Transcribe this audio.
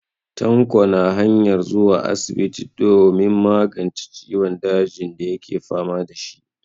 Tanko na hanyar zuwa asibiti domin magance ciwon dajin dake fama da shi.